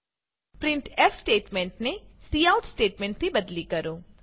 printf સ્ટેટમેંટને cout સ્ટેટમેંટથી બદલી કરો